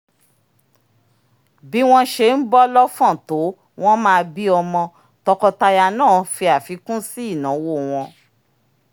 bí wọ́n ṣe ń bọ́ lọ́fọ̀n tó wọ́n máa bí ọmọ tọkọtaya náà fi àfikún sí ináwó wọn